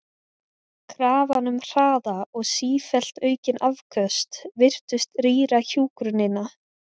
Krafan um hraða og sífellt aukin afköst virtist rýra hjúkrunina.